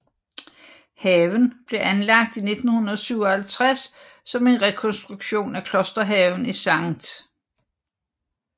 Haven blev anlagt i 1957 som en rekonstruktion af klosterhaven i St